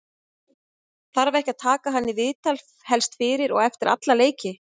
þarf ekki að taka hann í viðtal helst fyrir og eftir alla leiki?